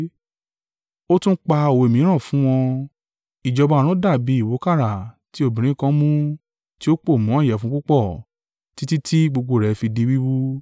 Ó tún pa òwe mìíràn fún wọn: “Ìjọba ọ̀run dàbí ìwúkàrà tí obìnrin kan mú tí ó pò mọ́ ìyẹ̀fun púpọ̀ títí tí gbogbo rẹ fi di wíwú.”